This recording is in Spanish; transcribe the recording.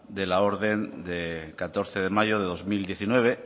de la orden de catorce de mayo de dos mil diecinueve